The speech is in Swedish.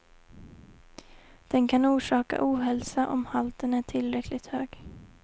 Den kan orsaka ohälsa om halten är tillräckligt hög.